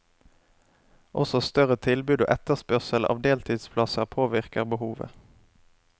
Også større tilbud og etterspørsel av deltidsplasser påvirker behovet.